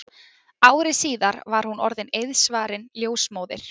Ári síðar var hún orðin eiðsvarin ljósmóðir.